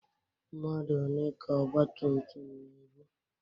Mmadu one ka ọgbatumtum na-ebu?